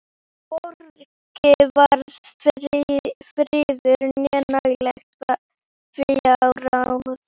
Hvorki var friður né nægileg fjárráð.